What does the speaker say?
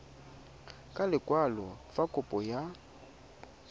ka lekwalo fa kopo ya